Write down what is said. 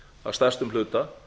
að stærstum hluta